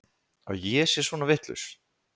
Að ég sé svona vitlaus?